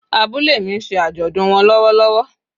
Abúlé mi nse àjòdùn won lówó lówó